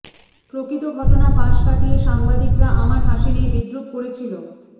প্রকৃত ঘটনা পাশ কাটিয়ে সাংবাদিকরা আমার হাসি নিয়ে বিদ্রূপ করেছিল